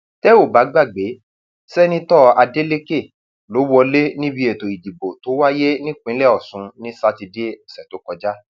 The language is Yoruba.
tẹ ò bá gbàgbé sẹńtítọ adeleke ló wọlé níbi ètò ìdìbò tó wáyé nípìnlẹ ọsùn ní sátidé ọsẹ tó kọjá